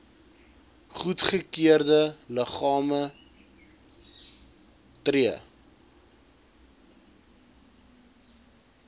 goedgekeurde liggame tree